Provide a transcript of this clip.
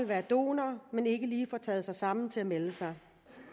være donorer men som ikke lige får taget sig sammen til at melde sig